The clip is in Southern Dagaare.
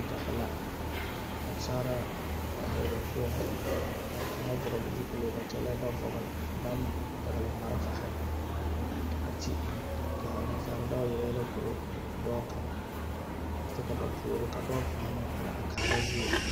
Sojahi nansaalaa paahi la ba puoŋ ka kaŋa vɔgle zupile ba kyɛlɛɛ ba vɔgle baŋ pɛgle malfahi a kye ka a nansaala dɔɔ yɛlɛ yɛlɛ koro a dɔɔ kaŋa kyɛ ba puoriŋ ka dɔɔ kaŋa are kaara zie.